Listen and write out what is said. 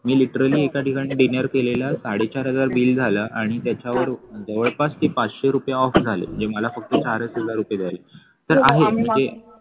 मी literally एका ठिकाणी dinner केलेलं साडे चार हजार बिल झालं आणि त्याच्यावर जवळपास ते पाचशे रुपये off झाले म्हणजे मला फक्त चारच हजार रुपये द्यायला लागले तर आहे म्हणजे